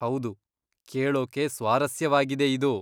ಹೌದು, ಕೇಳೋಕೆ ಸ್ವಾರಸ್ಯವಾಗಿದೆ ಇದು!